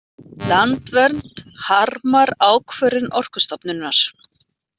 Landvernd harmar ákvörðun Orkustofnunar